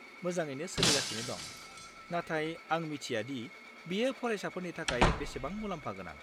मोजाङैनो सोलिगासिनो दं, नाथाय आं मिथिया दि बियो फरायसाफोरनि थाखाय बेसेबां मुलाम्फा गोनां।